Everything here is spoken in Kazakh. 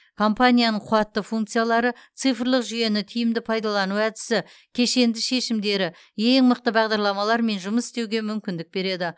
компанияның қуатты функциялары цифрлық жүйені тиімді пайдалану әдісі кешенді шешімдері ең мықты бағдарламалармен жұмыс істеуге мүмкіндік береді